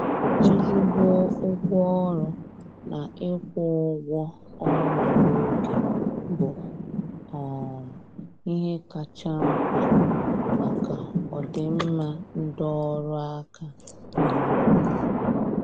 ezigbo ụgwọ ọrụ na ịkwụ ụgwọ ọnwa na oge bụ um ihe kacha mkpa maka ọdịmma ndị ọrụ aka n' obodo